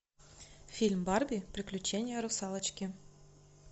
фильм барби приключение русалочки